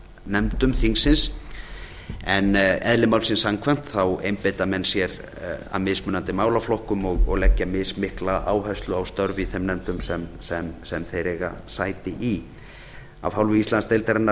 nefndum þingsins en eðli málsins samkvæmt þá einbeita menn sér að mismunandi málaflokkum og leggja mismikla áherslu á störf í þeim nefndum sem þeir eiga sæti í af hálfu íslandsdeildarinnar